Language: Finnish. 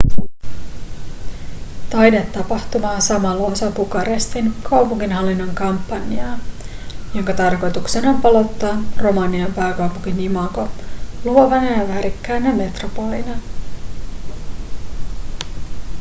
taidetapahtuma on samalla osa bukarestin kaupunginhallinnon kampanjaa jonka tarkoituksena on palauttaa romanian pääkaupungin imago luovana ja värikkäänä metropolina